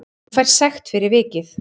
Hann fær sekt fyrir vikið